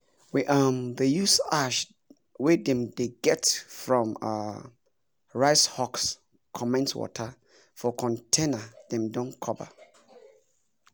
we um dey use ash wey dem dey get from um rice husk comment water for container wey dem don cover um